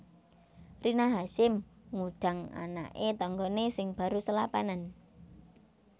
Rina Hasyim ngudang anake tanggane sing baru selapanan